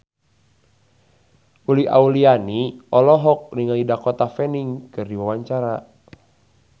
Uli Auliani olohok ningali Dakota Fanning keur diwawancara